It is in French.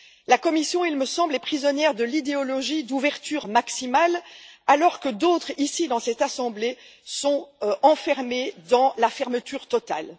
La Commission, me semble t il, est prisonnière de l'idéologie d'ouverture maximale alors que d'autres, ici, dans cette assemblée, sont reclus dans la fermeture totale.